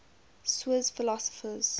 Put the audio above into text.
swiss philosophers